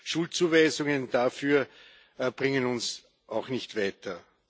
Schuldzuweisungen dafür bringen uns auch nicht weiter.